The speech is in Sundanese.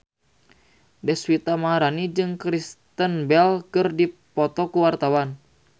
Deswita Maharani jeung Kristen Bell keur dipoto ku wartawan